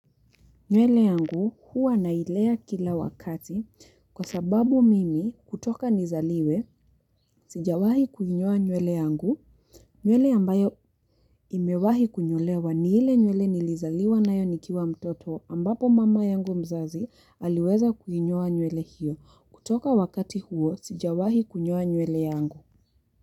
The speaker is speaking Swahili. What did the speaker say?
Nywele yangu huwa nailea kila wakati kwa sababu mimi kutoka nizaliwe, sijawahi kuinyoa nywele yangu. Nywele ambayo nimewahi kunyolewa ni ile nywele nilizaliwa nayo nikiwa mtoto ambapo mama yangu mzazi aliweza kuinyoa nywele hiyo. Kutoka wakati huo sijawahi kuhinyowa nywele yangu.